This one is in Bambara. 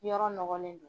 Yɔrɔ nɔgɔlen don